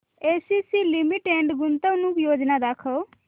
ACC Limited गुंतवणूक योजना दाखव